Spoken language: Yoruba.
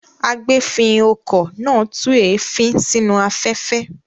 Agbèéfín-okọ̀ náà tú èéfín sínú afẹ́fẹ́.